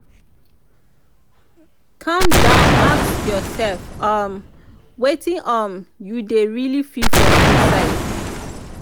calm down ask ursef um wetin um yu dey rily feel for inside